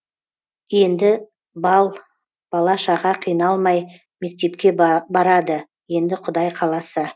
енді бала шаға қиналмай мектепке барады енді құдай қаласа